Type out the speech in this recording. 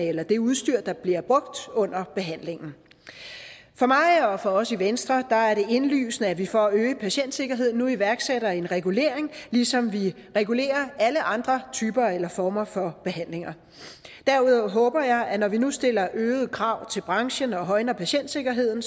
eller det udstyr der bliver brugt under behandlingen for mig og for os i venstre er det indlysende at vi for at øge patientsikkerheden nu iværksætter en regulering ligesom vi regulerer alle andre typer eller former for behandling derudover håber jeg at når vi nu stiller øgede krav til branchen og højner patientsikkerheden